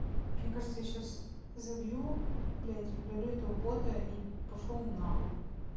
мне кажется я сейчас забью блядь удалю этого бота и пошёл он на хуй